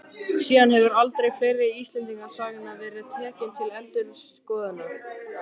Síðan hefur aldur fleiri Íslendingasagna verið tekinn til endurskoðunar.